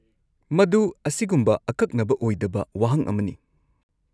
-ꯃꯗꯨ ꯑꯁꯤꯒꯨꯝꯕ ꯑꯀꯛꯅꯕ ꯑꯣꯏꯗꯕ ꯋꯥꯍꯪ ꯑꯃꯅꯤ ꯫